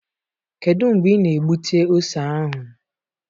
Kedu mgbe ị na-egbute ose ahụ?